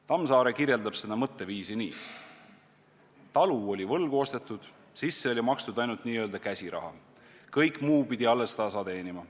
Tammsaare kirjeldab seda mõtteviisi nii: "Talu oli võlgu ostetud, sisse makstud ainult nii-öelda käsiraha, kõik muu pidi alles tasa teenima.